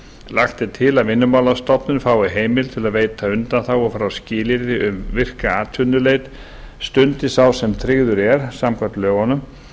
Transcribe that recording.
lagt er til að vinnumálastofnun fái heimild til að veita undanþágu frá skilyrði um virka atvinnuleit stundi sá sem tryggður er samkvæmt lögunum